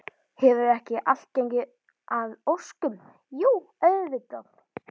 Hefur ekki allt gengið að óskum, jú auðvitað.